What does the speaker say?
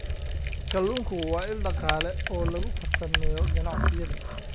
Kalluunku waa il dhaqaale oo lagu farsameeyo ganacsiyada.